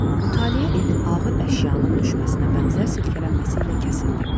Mütaliə evin ağır əşyanın düşməsinə bənzər silkələnməsi ilə kəsildi.